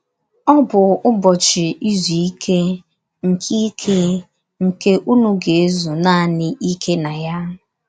Ọ bụ ụbọchị izu ike, nke ike, nke unu ga - ezu naanị ike na ya...